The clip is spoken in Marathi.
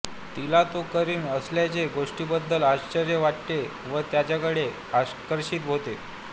तिला तो करीत असलेल्या गोष्टींबद्दल आश्वर्य वाटते व त्याच्याकडे आकर्षित होते